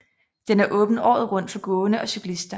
Den er åben året rundt for gående og cyklister